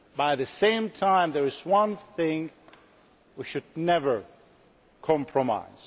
At the same time there is one thing on which we should never compromise.